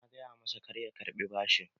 Na gaya masa kar ya karɓi bashin